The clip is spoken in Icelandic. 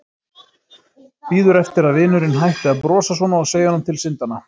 Bíður eftir að vinurinn hætti að brosa svona og segi honum til syndanna.